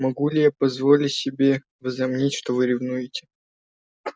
могу ли я позволить себе возомнить что вы ревнуете